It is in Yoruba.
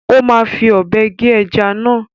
Ó máa fi ọ̀bẹ gé ẹja náà.